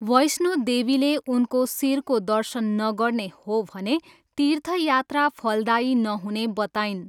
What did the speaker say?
वैष्णोदेवीले उनको शिरको दर्शन नगर्ने हो भने तीर्थयात्रा फलदायी नहुने बताइन्।